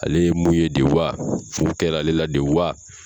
Ale ye mun ye de wa fu kɛra ale la de wa